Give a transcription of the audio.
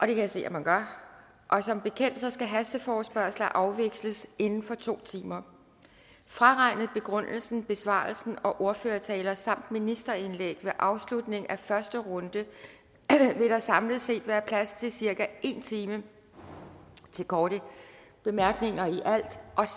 jeg se man gør som bekendt skal hasteforespørgsler afvikles inden for to timer fraregnet begrundelse besvarelse og ordførertaler samt ministerindlæg ved afslutning af første runde vil der samlet set være plads til cirka en time til korte bemærkninger og